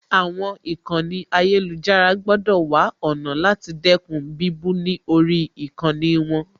Àwọn ìkànnì ayélujára gbọ́dọ̀ wá ọ̀nà láti dẹ́kun bíbú ni lórí ìkànnì wọn